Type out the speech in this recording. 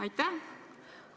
Aitäh!